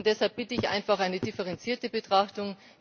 Deshalb bitte ich einfach um eine differenzierte Betrachtung.